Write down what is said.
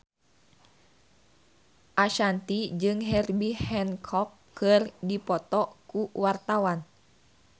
Ashanti jeung Herbie Hancock keur dipoto ku wartawan